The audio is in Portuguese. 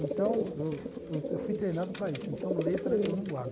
Então, eu eu fui treinado para isso, então letra eu não guardo.